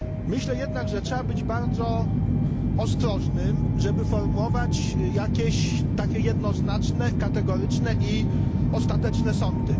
Myślę jednak, że trzeba być bardzo ostrożnym, żeby formułować jakieś takie jednoznaczne, kategoryczne i ostateczne sądy.